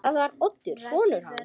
Það var Oddur sonur hans.